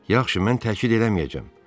Yaxşı, mən təkid eləməyəcəm.